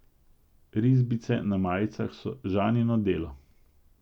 Risbice na majicah so Žanino delo.